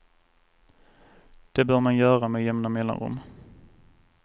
Det bör man göra med jämna mellanrum.